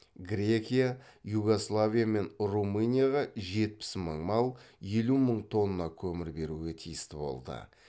грекия югославия мен румынияға жетпіс мың мал елу мың тонна көмір беруге тиісті болды